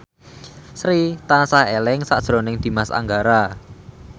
Sri tansah eling sakjroning Dimas Anggara